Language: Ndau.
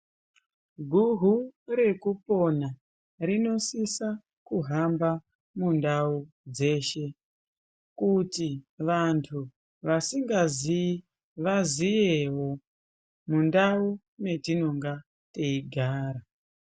Guhu rekupona rinosisa kuhamba mundau dzeshe kuti vantu vasingazii vaziyewo mundau metinonga teigara.